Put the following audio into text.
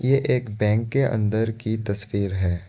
ये एक बैंक के अंदर की तस्वीर है।